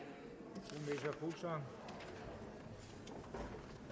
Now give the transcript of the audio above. her er